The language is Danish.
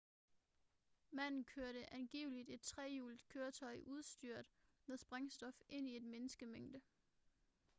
manden kørte angiveligt et trehjulet køretøj udstyret med sprængstof ind i en menneskemængde